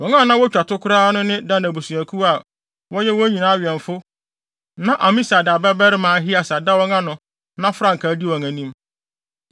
Wɔn a na wotwa to koraa no ne Dan abusuakuw a wɔyɛ wɔn nyinaa awɛmfo na Amisadai babarima Ahieser da wɔn ano na frankaa di wɔn anim.